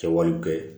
Kɛwalew kɛ